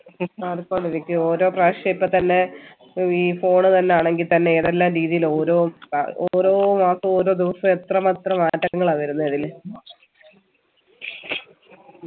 മാറിക്കൊണ്ടിരിക്കും ഓരോ പ്രാവശ്യോ ഇപ്പൊ തന്നെ ഈ phone തന്നെ ആണെങ്കി തന്നെ ഏതെല്ലാം രീതിയിൽ ഓരോ ഓരോ മാസും ഓരോ ദിവസും എത്ര മാത്രം മാറ്റങ്ങളാ വരുന്നേ അതില്